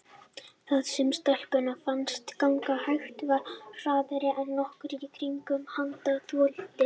Það sem stelpunni fannst ganga hægt var hraðara en nokkur í kringum hana þoldi.